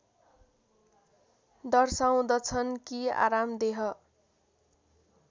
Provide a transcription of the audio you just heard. दर्शाउँदछन् कि आरामदेह